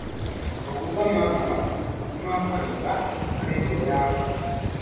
Maguta ma thamaki nĩ ma baida harĩ ngoro yaku.